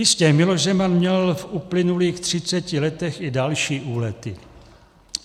Jistě, Miloš Zeman měl v uplynulých třiceti letech i další úlety.